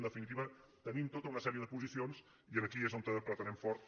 en definitiva tenim tota una sèrie de posicions i aquí és on apretarem fort